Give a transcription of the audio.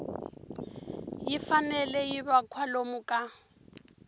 fanele yi va kwalomu ka